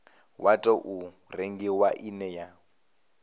wa tou rengiwa ine ya